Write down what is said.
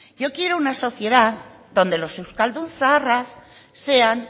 yo quiero una sociedad donde los euskaldun zaharraz sean